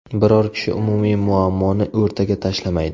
Biror kishi umumiy muammoni o‘rtaga tashlamaydi.